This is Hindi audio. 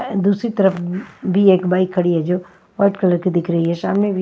दूसरी तरफ भी एक बाइक खड़ी है जोवाइट कलर की दिख रही है सामने--